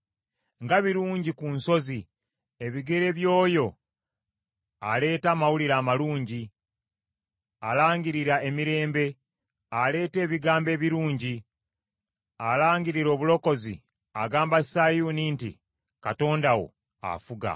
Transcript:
Nga birungi ku nsozi ebigere by’oyo aleeta amawulire amalungi, alangirira emirembe, aleeta ebigambo ebirungi, alangirira obulokozi, agamba Sayuuni nti, “Katonda wo afuga.”